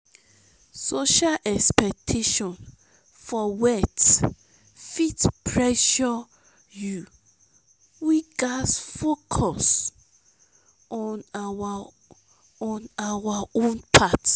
social expectation for wealth fit pressure you; we gats focus on our on our own path.